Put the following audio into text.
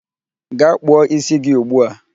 Gaa kpụọ ísí gị ugbu a!